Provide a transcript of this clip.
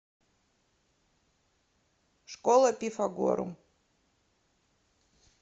школа пифагорум